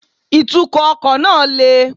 Ìtúkò ọkò náà le